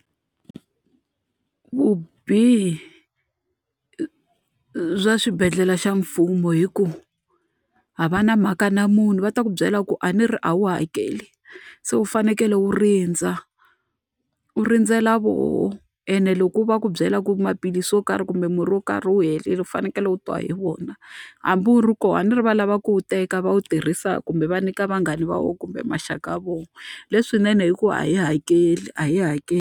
Vubihi bya xibedhlele xa mfumo i ku a va na mhaka na munhu, va ta ku byela ku a ni ri a wu hakeli. Se wu fanekele wu rindza, u rindzela vona ene loko u va ku byela ku maphilisi yo karhi kumbe murhi yo karhi wu herile u fanekele u twa hi vona. Hambi u ri kona a ni ri va lava ku wu teka va wu tirhisa kumbe va nyika vanghana va vona kumbe maxaka ya vona. Leswinene i ku a hi hakeli a yi hakeli.